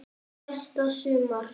Næsta sumar?